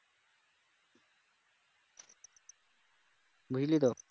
বুঝলি তো